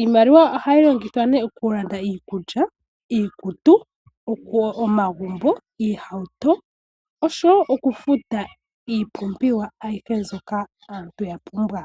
Iimaliwa ohayi longithwa nee oku landa iikulya, iikutu, omagumbo, oohauto oshowo oku futa iipumbiwa ayihe mbyoka aantu ya pumbwa.